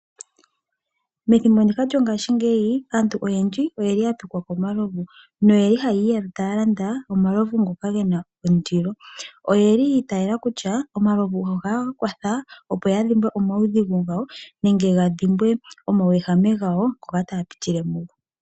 Methimbo ndika lyongashingeyi aantu oyendji oyeli ya pikwa komaluvu noyeli haya landa omalovu ngoka gena ondilo. Oyeli ya itayela kutya omalovu ohage ya kwatha ya dhimbwe omaudhigu gawo nenge ya dhimbwe omauwehame gawo ngoka taya pitile mugo.